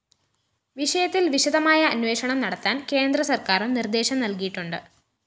വിഷയത്തില്‍ വിശദമായ അന്വേഷണം നടത്താന്‍ കേന്ദ്ര സര്‍ക്കാരും നിര്‍ദ്ദേശം നല്കിയിട്ടുണ്ട്